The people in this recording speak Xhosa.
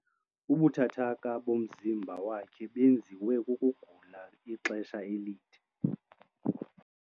Ubuthathaka bomzimba wakhe benziwe kukugula ixesha elide.